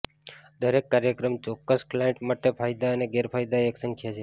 દરેક કાર્યક્રમ ચોક્કસ ક્લાઇન્ટ માટે ફાયદા અને ગેરફાયદા એક સંખ્યા છે